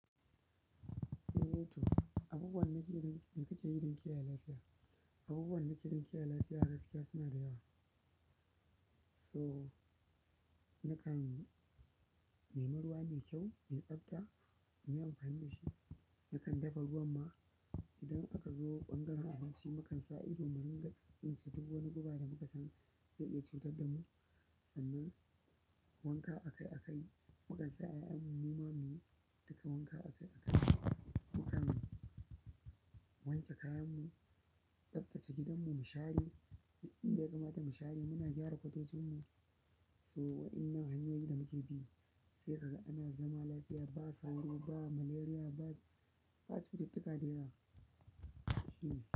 Eh, to abu buwan na kiran in ka je wurin kiyaye lafiya. Abu buwan na kiran kiyaye lafiya gaskiya suna da yawa. To nakan nemi ruwa mai kyau mai tsafta nakanyi amfani dashi. Nakan dafa ruwan ma idan aka zo ɓangaren abinci, mu kan sa ido muringa tsintsince duk wani guba da muka san zai iya cutar da mu. Sannan wanka akai-akai, mu kan sa ƴaƴan mumamu yi duka wanka akai-akai. Mu kam wanke kayan mu, tsaftace gidan mu, mu share. Inda ya kamata mu share muna gyara motocin mu. So, waɗannan hanyoyi da muke bi sai ka ga ana zama lafiya ba sauro, ba malaria, ba, ba cututtuka dayawa. Hmm.